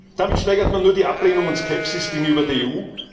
Damit steigert man nur die Ablehnung und Skepsis gegenüber der EU.